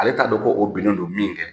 Ale t'a dɔn koo binnen don min kɛ